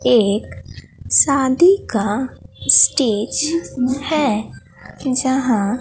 एक शादी का स्टेज हैं जहां--